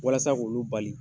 Walasa k'olu bali